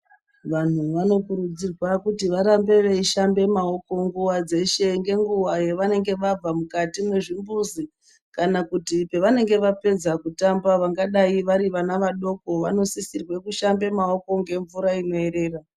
Vanhu vanokurudzirwa kuti varambe veishambe maoko nguwa dzeshe ngenguwa yavanenge vabve mukati mwezvimbuzi kana kuti pevanenge vapedza kutamba vangadai vari vana vadoko vanosisirwa kushambe maoko ngemvura inoerera.